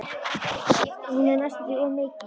Hún er næstum því of mikil.